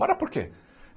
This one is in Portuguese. Para por quê?